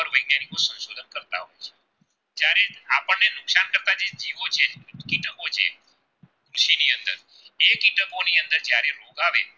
કીટકો છે કે જેની અંદર એ કીટકોની અંદર જયારે રોગ આવે